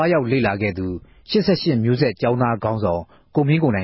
ားရောက် လေ့လာခဲ့သူ ၈၈မဵိြးဆက် ကေဵာင်းသား ခေၝင်းဆောင် ကိုမင်းကိုံိုင